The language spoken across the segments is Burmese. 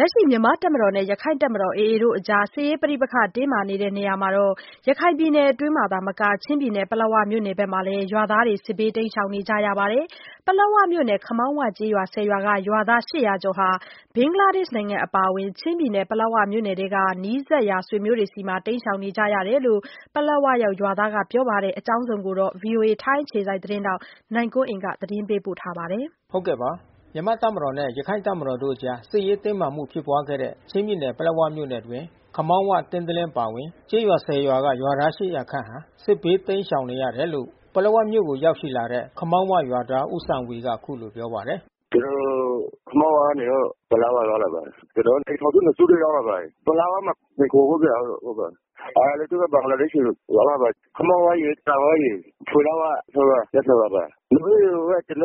လက်ရှိမြန်မာ့တပ်မတော်နဲ့ ရခိုင့်တပ်မတော် AA တို့အကြား စစ်ရေးပဋိပက္ခတင်းမာ နေတဲ့နေရာမှာ ရခိုင်ပြည်နယ် အတွင်းသာမက ချင်းပြည်နယ်၊ ပလက်ဝမြို့နယ်ဘက်မှာ လည်း ရွာသားတွေစစ်ဘေးတိမ်းရှောင်နေကြရပါတယ်။ ပလက်ဝ မြို့နယ် ခမောင်းဝ ကျေးရွာ ရွာက ရွာသား ကျော်ဟာ ဘင်္ဂလားဒေ့ရှ်နိုင်ငံနဲ့ ပလက်ဝ မြို့နယ် အတွင်း နီးစပ်ရာဆွေမျိုးတွေဆီမှာ တိမ်းရှောင်နေရတယ်လို့ ပလက်ဝရောက် ရွာသား တဦးက ပြောပါတယ်။ ဒီအကြောင်းအစုံအလင်ကို ဗွီအိုအေ ထိုင်းအခြေစိုက် သတင်းထောက် နိုင်ကွန်းအိန်ကနေ သတင်းပေးပို့ထားပါတယ်။ မြန်မာ့တပ်မတော်နဲ့ရခိုင့်တပ်မတော်တို့အကြား စစ်ရေးတင်းမာမှုဖြစ်ပွါးခဲ့တဲ့ ချင်းပြည်နယ် ပလက်ဝမြို့နယ် အတွင်း ခမောင်းဝ၊ ကင်းသလင်းအပါဝင် ကျေးရွာ ရွာက ရွာသား ခန့် စစ်ဘေးတိမ်းရှောင်နေရ တယ်လို့ ပလက်ဝ မြို့ကိုရောက်ရှိလာတဲ့ ခမောင်းဝ ရွာသား ဦးစံဝေ က အခုလိုပြောပါတယ်။ “ကျနော်တို့ ခမောင်းဝကနေပြီးတော့ ပလက်ဝရောက်လာပါတယ်။ ကျနော်တို့ အိမ်ထောင် စု နှစ်စုပဲ ရောက် လာပါတယ်။ ပလက်ဝမှာမှီခိုဖို့ ဟုတ်ကဲ့။ အဲ တချို့ ဘင်္ဂလားဒေ့ရ်ှ ဆီ ရောက်လာပါတယ်။ ခမောင်းဝရယ်၊ စတင်ဝ၊ ဖွေလိုက်ဝ ရွာ ပျက်သွားတာပါ။ ကျနော်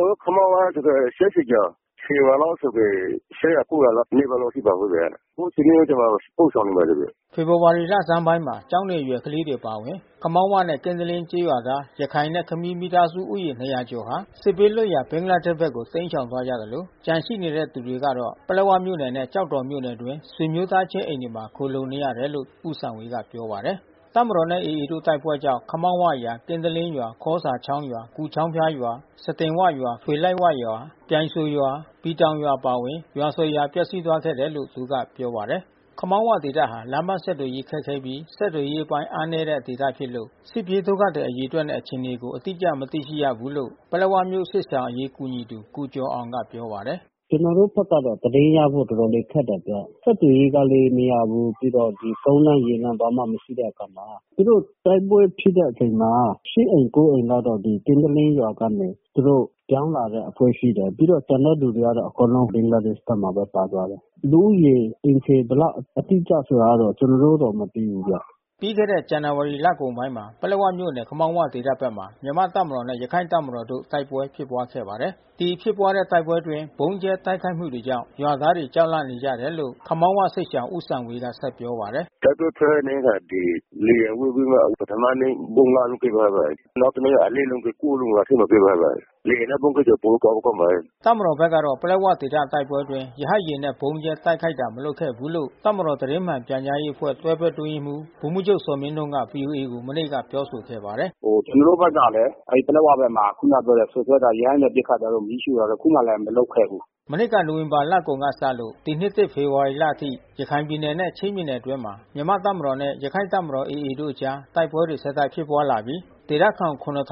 တို့ ခမောင်းဝမှာပဲလူဦးရေ ကျော်။ ရွာလောက် ဆိုရင် နီးပါးလောက်ရှိပါတယ်။ အခုဆွေမျိုးတွေဆီမှာ ပို့ဆောင်နေပါတယ်။” ဖေဖေါ်ဝါရီလဆန်းပိုင်းမှာ ကျောင်းနေအရွယ်ကလေးတွေအပါဝင် ခမောင်းဝနဲ့ ကင်းသလင်း ကျေးရွာသား ရခိုင်နဲ့ ခမီး မိသားစုဦးရေ ကျော်ဟာ စစ်ဘေးလွတ်ရာ ဘင်္ဂလားဒေ့ရ်ဘက်ကိုတိမ်းရှောင်သွားကြသလို ကျန်ရှိတဲ့သူတွေကတော့ ပလက်ဝမြို့နယ်နဲ့ေ ကျာက်တော်မြို့နယ်အတွင်း ဆွေမျိုးသားချင်းအိမ်တွေမှာ ခိုလှုံနေရတယ်လို့ ဦးစံဝေကပြောပါတယ်။ တပ်မတော်နဲ့ AA တို့တိုက်ပွဲကြောင့် ခမောင်းဝရွာ၊ ကင်းတလင်းရွာ၊ခေါစာချောင်း ရွာ၊ ကူချောင်းဖျားရွာ စတင်ဝရွာ၊ ဖွေလိုက်ဝရွာ၊ပြိုင်စိုရွာ ၊ ပီတောင်ရွာ အပါအဝင် ရွာ ရွာပျက်စီးသွားခဲ့တယ်လို့ သူက ပြောပါတယ်။ ခမောင်းဝဒေသဟာ လမ်းပန်းဆက်သွယ်ရေးခက်ခဲပြီး ဆက်သွယ်ရေးအားနည်းတဲ့ ဒေသဖြစ်လို့ စစ်ပြေး ဒုက္ခသည် အရေအတွက်နဲ့အခြေအနေကို အတိအကျ မသိရှိ ဘူးလို့ ပလက်ဝမြို့စစ်ရှောင်အရေးကူညီသူ ကိုကျော်အောင် က ပြောပါတယ်။ “ကျနော်တို့ဘက်ကတော့သတင်းရဖို့တော်တော်လေးခက်တယ်ဗျ။ ဆက်သွယ်ရေး ကလည်း နေရာကိုပြီးတော့ ကုန်းလမ်း၊ ရေလမ်းဘာမှမရှိတဲ့အခါမှာ သူတို့ တိုက်ပွဲဖြစ်တဲ့ အချိန်မှာ အိမ် အိမ်လောက် ကင်းသလင်း ရွာကနေ သူ တို့ပြောင်းလာတဲ့အဖွဲ့ ရှိတယ်။ ပြီးတော့ ကျန်တဲ့သူတွေကတော့အကုန်လုံး ဘင်္ဂလားဒေ့ရ်ှဖက်မှာပဲ ပါသွား တယ်။ လူဦးရေ အိမ်ခြေဘယ်လောက်အတိအကျဆိုတော့ကျနော်တို့မသိဘူးဗျ။” ပြီးခဲ့တဲ့ဇန္နဝါရီလကုန်ပိုင်းမှာ ပလက်ဝမြို့နယ် ခမောင်းဝဒေသဘက်မှာ မြန်မာ့ တပ်မတော် နဲ့ရခိုင့်တပ်မတော်တို့ တိုက်ပွဲဖြစ်ပွါးခဲ့တာပါ။ ဒီဖြစ်ပွါးတဲ့တိုက်ပွဲအတွင်း ဗုံးကြဲတိုက်ခိုက်မှုတွေကြောင့် ရွာသားတွေ ကြောက်လန့်နေ ကြတယ်လို့ ခမောင်းဝ စစ်ရှောင် ဦးစံဝေက ဆက်ပြောပါတယ်။ “တိုက်ပွဲဖြစ်တဲ့နေ့က ဒီ လေယာဉ်ဝှေ့ပြီးမှ ပထမနေ့ ဗုံး လုံးကြဲသွားပါတယ်။ နောက် တနေ့ လုံး။ လုံး ကြဲသွားပါတယ်။ လေယာဉ်နဲ့ဗုံးကြဲတာ ပိုပြီးကြောက်ဖို့ ကောင်း ပါတယ်။” တပ်မတော်ဖက်ကတော့ ပလက်ဝဒေသတိုက်ပွဲအတွင်း ရဟတ်ယာဉ်နဲ့ဗုံးကြဲ တိုက်ခိုက်တာ မလုပ်ခဲ့ဘူးလို့ တပ်မတော် သတင်းမှန်ပြန်ကြားရေးအဖွဲ့ တွဲဖက် အတွင်းရေးမှူး ဗိုလ်မှူးချုပ်ဇော်မင်းထွန်းက ဗွီအိုအေကို မနေ့က ပြောဆိုခဲ့ပါတယ်။ “ဟိုကျနော်တို့ဘက်ကလည်း အဲဒီပလက်ဝဘက်မှာ ခုနပြောတဲ့စွပ်စွဲတာ ရဟတ်ယာဉ်နဲ့ ပစ်ခတ်တာတို့ မီးရှို့ တာတို့ တခုမှလည်းမလုပ်ခဲ့ဘူး။” မနှစ်ကနိုဝင်ဘာလကုန်ကစလို့ ဒီနှစ်သစ်ဖေဖေါ်ဝါရီလအထိ ရခိုင်ပြည်နယ်နဲ့ ချင်းပြည် နယ် အတွင်းမှာ မြန်မာ့ တပ်မတော်နဲ့ ရခိုင့်တပ်မတော် AA တို့အကြား တိုက်ပွဲတွေ ဆက်တိုက်ဖြစ်ပွါးလာပြီး ဒေသခံ ခန့်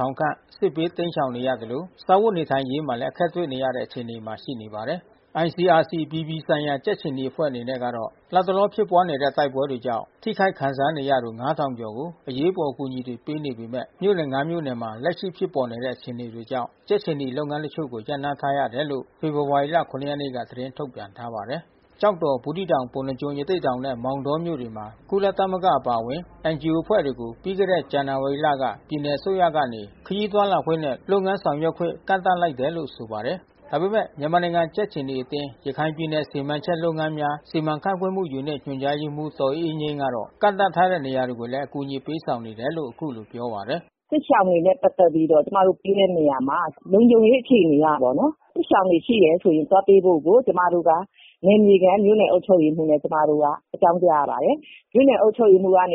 စစ်ဘေး တိမ်းရှောင်နေရသလို စားဝတ် နေထိုင်ရေးမှာလည်းအခက်တွေ့နေကြရပါတယ်။ ICRC အပြည်ပြည်ဆိုင်ရာ ကြက်ခြေနီအဖွဲ့အနေနဲ့ကတော့ လတ်တလောဖြစ်ပွားနေတဲ့ တိုက်ပွဲတွေကြောင့် ထိခိုက်ခံစားနေရသူ ငါးထောင်ကျော်ကို အရေးပေါ် အကူအညီတွေ ပေးနေပေမယ့် မြို့နယ်ငါးမြို့နယ်မှာ လက်ရှိ ဖြစ်ပေါ်နေတဲ့ အခြေအနေတွေကြောင့် ကြက်ခြေနီလုပ်ငန်းတချို့ကို ရပ်နားထားရတယ်လို့ ဖေဖော်ဝါရီလ ၇ ရက်နေ့ က သတင်း ထုတ်ပြန်ထားပါတယ်။ ကျောက်တော်၊ ဘူးသီးတောင်၊ ပုဏ္ဏားကျွန်း၊ ရသေ့တောင်နဲ့ မောင်တောမြို့နယ်တွေမှာ ကုလသမဂ္ဂ အပါအဝင် NGO အဖွဲ့တွေကိုပြီးခဲ့တဲ့ ဇန်နဝါရီလက ပြည်နယ်အစိုးရကနေ ခရီးသွားလာခွင့်နဲ့ လုပ်ငန်းဆောင်ရွက်ခွင့် ကန့်သတ်လိုက်တယ်လို့ဆိုပါတယ်။ ဒါပေမယ့် မြန်မာနိုင်ငံကြက်ခြေနီအသင်း ရခိုင်ပြည်နယ်စီမံချက်လုပ်ငန်းများ စီမံခန့်ခွဲမှု ယူနစ် ညွှန်ကြားရေးမှူး ဒေါ် အေးအေးငြိမ်းကတော့ ကန့်သတ်ထားတဲ့နေရာတွေ ကို လည်း အကူညီပေးဆောင်နေတယ်လို့အခုလိုပြောပါတယ်။ “စစ်ရှောင်တွေနဲ့ပက်သက်ပြီးတော့ ကျမတို့ပေးတဲ့နေရာမှာ လုံခြုံရေးအခြေအနေအရ ပေါ့နော်။ စစ်ရှောင်တွေ ရှိတယ်ဆိုရင် သွားတွေ့ဖို့ကို ကျမတို့က နယ်မြေခံမြို့နယ် အုပ်ချုပ်ရေးမှူးဆီကို အကြောင်းကြားရပါတယ်။ မြို့ နယ်အုပ်ချုပ်ရေးမှူးကတဆ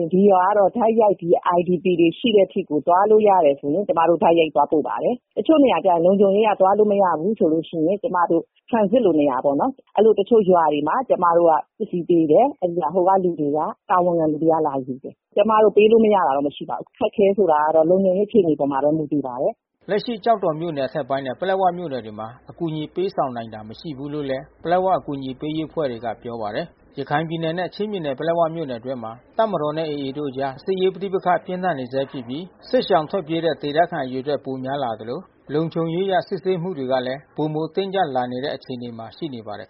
င့် ဒီရွာကတော့ တိုက်ရိုက် ဒီ IDP တွေရှိတဲ့အထိကိုသွားလို့ရတယ်ဆိုရင် ကျမတို့ တိုက်ရိုက် သွားပို့ပါတယ်။ တချို့နေရာကျတော့လည်း လုံခြုံရေးက သွားလို့မရဘူးဆိုရင် ကျမတို့ transit လို့ မရဘူးပေါ့နော်။ အဲဒီလိုတချို့ရွာတွေမှာ ကျမတို့ကပစ္စည်းပေးတယ်။ ဟိုက လူတွေက တာဝန်ခံလူတွေက လာ ယူတယ်။ ကျမတို့ ပေးလို့မရတာတော့မရှိပါဘူး။ အခက်ခဲဆိုတာကတော့ လုံခြုံရေးအပေါ်မှာပဲ မူတည်ပါတယ်။” လက်ရှိကျောက်တော်မြို့နယ်အထက်ပိုင်းနဲ့ပလက်ဝမြို့နယ်တွေမှာတော့ အကူအညီ ပေးဆောင်နိုင်တာ မရှိဘူး လို့လည်း ပလက်ဝအကူညီပေးအဖွဲ့တွေက ပြောပါတယ်။ ရခိုင်ပြည်နယ်နဲ့ချင်းပြည်နယ်ပလက်ဝမြို့နယ်အတွင်းမှာ တပ်မတော်နဲ့ AA တို့အကြား စစ်ရေးပဋိပက္ခ ပြင်းထန် နေဆဲဖြစ်ပြီး စစ်ရှောင်ထွက်ပြေးတဲ့ ဒေသခံအရေအတွက် ပိုများလာနေသလို လုံခြုံရေးအရစစ်ဆေးမှုတွေ ကလည်း ပိုမိုတင်းကျပ်လာနေတဲ့ အခြေအနေမှာရှိနေပါတယ်